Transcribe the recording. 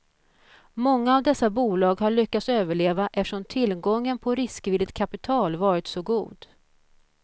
Många av dessa bolag har lyckats överleva eftersom tillgången på riskvilligt kapital varit så god.